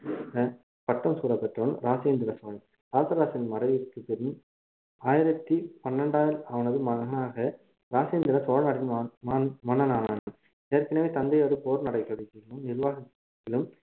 பட்டம் சூட்டப்பெற்றவன் ராஜேந்திர சோழன் ராசராசரின் மறைவிக்குப்பின் ஆயிரத்தி பன்னடா~ அவனது மகனாக ராஜேந்திர சோழன் மகன் மகன் மன்னனானான் ஏற்கனவே தந்தையோடு போர் நிர்வாகத்திலும்